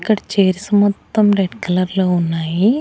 ఇక్కడ చైర్స్ మొత్తం రెడ్ కలర్లో ఉన్నాయి.